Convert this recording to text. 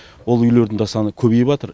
ол үйлердің де саны көбейіпатыр